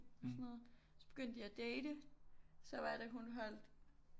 Og sådan noget så begyndte de at date så var det hun holdt